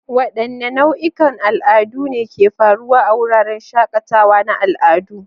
Wadanne nau'ikan al'adu ne ke faruwa a wuraren shakatawa na al'adu?